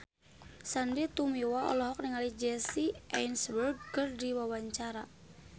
Sandy Tumiwa olohok ningali Jesse Eisenberg keur diwawancara